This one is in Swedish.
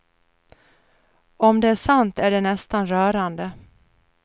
Om det är sant är det nästan rörande.